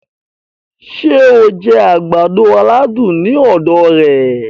Ṣé o jẹ agbado-aladun ní ọ̀dọ̀ rẹ̀